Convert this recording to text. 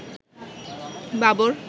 Babur